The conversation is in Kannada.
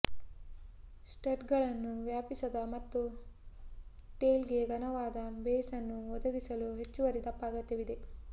ಸ್ಟಡ್ಗಳನ್ನು ವ್ಯಾಪಿಸಲು ಮತ್ತು ಟೈಲ್ಗೆ ಘನವಾದ ಬೇಸ್ ಅನ್ನು ಒದಗಿಸಲು ಹೆಚ್ಚುವರಿ ದಪ್ಪ ಅಗತ್ಯವಿದೆ